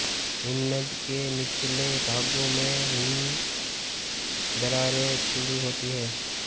हिमनद के निचले भागों में हिम दरारें खुली होती हैं